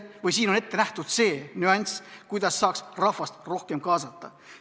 Siin on ette nähtud see nüanss, kuidas saaks rahvast rohkem kaasata.